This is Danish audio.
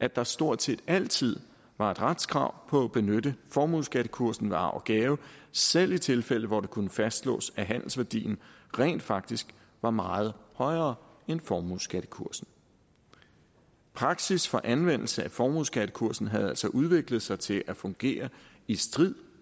at der stort set altid var et retskrav på at benytte formueskattekursen ved arv og gave selv i tilfælde hvor det kunne fastslås at handelsværdien rent faktisk var meget højere end formueskattekursen praksis for anvendelse af formueskattekursen havde altså udviklet sig til at fungere i strid